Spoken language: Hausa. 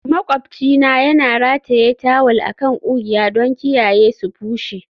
Maƙwabcina yana rataye tawul a kan ƙugiya don kiyaye su bushe.